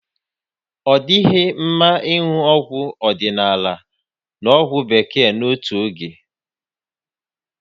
Ọ dịghị mma ịṅụ ọgwụ odịnaala na ọgwụ Bekee n'otu oge